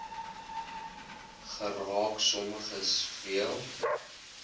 geraak sommiges veel